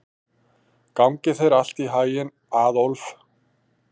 Gangi þér allt í haginn, Aðólf.